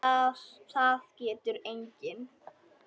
Það getur enginn.